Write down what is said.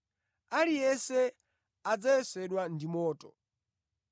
Aliyense adzayesedwa ndi moto.